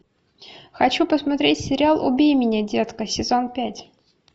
хочу посмотреть сериал убей меня детка сезон пять